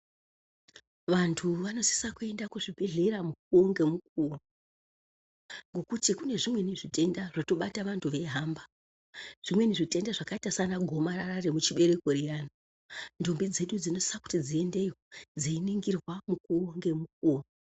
Vantu vanosise kuenda kuzvibhehlera mukuwo ngemukuwo ngekuti kune zvimweni zvitenda zvinobata vantu veihamba zvimweni zvakaita sana gomarara remuchibereko riyani. Ntombi dzedu dzinosise kuti dziendeyo dzeiningirwa mukuwo ngemukuwo.